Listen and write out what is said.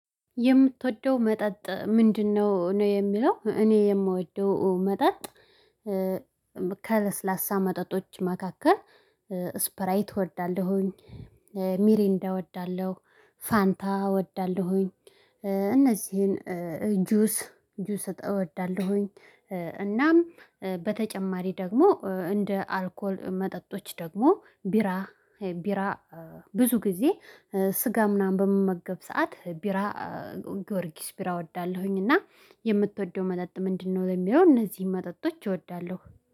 የምትወደው መጠጥ ምንድነው? ነው የምለው እኔ የምወደው መጠጥ ከለስላሳ መጠጦች መካከል ስፕራይት እወዳለሁኝ፣ ሚሪንዳ እወዳለሁ፣ ፋንታ እወዳለሁኝ እነዚህን ጁስ ጁስ እወዳለሁኝ እናም በተጨማሪ ደግሞ፤ እንደ አልኮል መጠጦች፤ ደግሞ ቢራ ቢራ ብዙ ጊዜ ስጋ ምናምን በመመገብ ሰዓት ቢራ ጊዮርጊስ ፒራ እወዳለሁኝ እና የምትወደው መጠጥ ምንድነው? ወይ የሚለው እነዚህ መጠጦች እወዳለሁ።